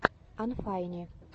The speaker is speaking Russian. анфайни